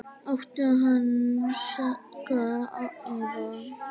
Áttu hanska eða?